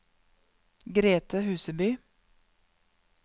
Grethe Huseby